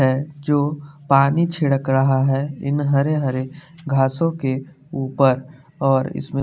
है जो पानी छिड़क रहा है इन हरे हरे घासों के ऊपर और इसमें --